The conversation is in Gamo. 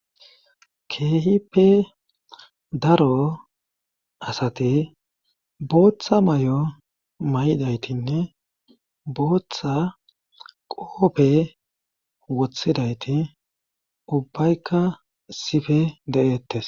keehipe daro asate booththa may7o may7idaytinne booththa qoope wothidayti ubbaykka sife de7eettes